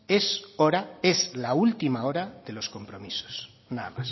es hora es la última hora de los compromisos nada